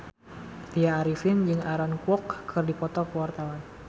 Tya Arifin jeung Aaron Kwok keur dipoto ku wartawan